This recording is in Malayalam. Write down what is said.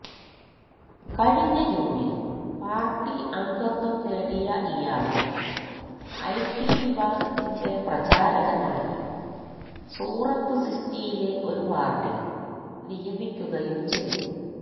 കഴിഞ്ഞ ജൂണിൽ പാർട്ടി അംഗത്വം നേടിയ ഇയാളെ ഐടി വിഭാഗത്തിന്റെ പ്രചാരകനായി സൂറത്ത് സിറ്റിയിലെ ഒരു വാർഡിൽ നിയമിക്കുകയും ചെയ്തു